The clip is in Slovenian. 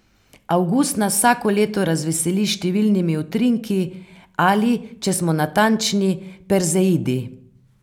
Avgust nas vsako leto razveseli s številnimi utrinki, ali, če smo natančni, perzeidi.